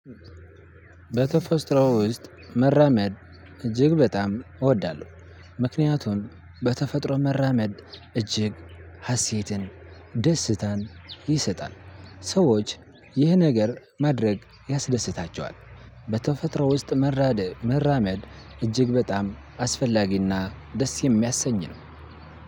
በተፈጥሮ ውስጥ መራመድ እጅግ በጣም እወዳለሁ። ምክንያቱም በተፈጥሮ መራመድ እጅግ ሀሴትን ደስታን ይሰጣል። ሰዎች ይህ ነገር ማድረግ ያስደስታቸዋል። በተፈጥሮ ውስጥ መራመድ እጅግ በጣም አስፈላጊና ደስ የሚያሰኝ ነው።